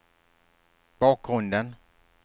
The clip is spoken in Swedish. bakgrunden